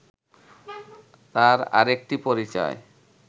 তার আরেকটি পরিচয়